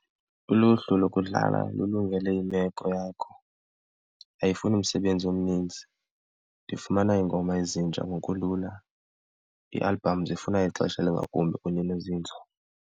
Uluhlu lokudlala lululungele imeko yakho, ayifuni msebenzi omninzi, ndifumana iingoma ezintsha ngokulula, iialbhamu zifuna ixesha elingakumbi kunye nozinzo.